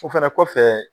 O fɛnɛ kɔfɛ